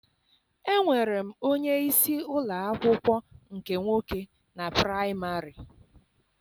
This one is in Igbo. Enwere m onyeisi ụlọ akwụkwọ nke nwoke na praịmarị.